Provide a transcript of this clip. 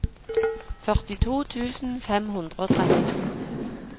førtito tusen fem hundre og trettito